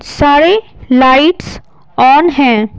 सारे lights on हैं।